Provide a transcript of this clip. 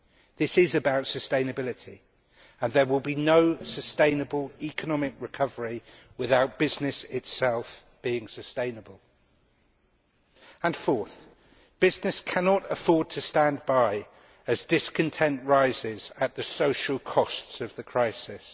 This is about sustainability, and there will be no sustainable economic recovery without business itself being sustainable. Fourthly, business cannot afford to stand by as discontent rises at the social costs of the crisis.